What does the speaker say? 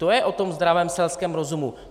To je o tom zdravém selském rozumu.